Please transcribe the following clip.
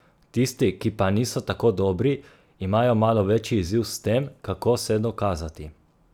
Tisti, ki pa niso tako dobri, imajo malo večji izziv s tem, kako se dokazati.